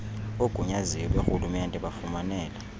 oogunyaziwe borhulumente bafumanele